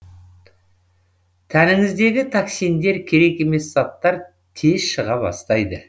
тәніңіздегі токсиндер керек емес заттар тез шыға бастайды